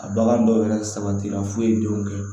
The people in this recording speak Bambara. A bagan dɔw yɛrɛ sabatira foyi denw kɛ